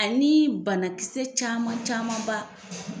Ani banakisɛ caman caman ba